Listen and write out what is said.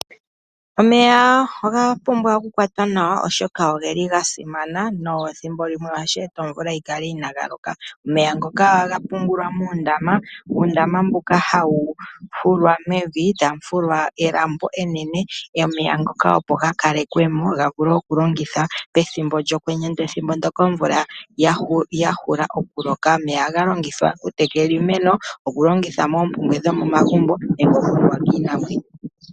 Omeya oga pumbwa okukwatwa nawa oshoka oga simana nethimbo limwe ohashi eta omvula yi kale inayi loka. Omeya ngoka ohaga pungulwa muundama. Uundama mbuka hawu fulwa mevi, tawu fulwa elambo enene omeya ngoka opo ga kalekwe mo ga vule okulongithwa pethimbo lyokwenye pethimbo ndyoka omvula ya hula okuloka. Omeya ohaga longithwa okutekela iimeno, okulongitha moopumbwe dhomomagumbo nenge okunuwa kiinamwenyo.